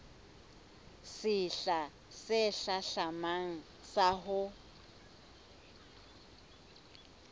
sehla se hlahlamang sa ho